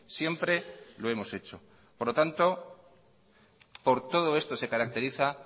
siempre lo hemos hecho por lo tanto por todo esto se caracteriza